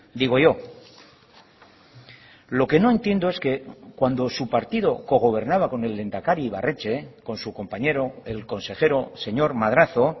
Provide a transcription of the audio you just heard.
digo yo lo que no entiendo es que cuando su partido cogobernaba con el lehendakari ibarretxe con su compañero el consejero señor madrazo